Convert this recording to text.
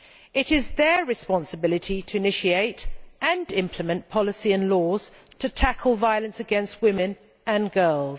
It is their responsibility to initiate and implement policy and laws to tackle violence against women and girls.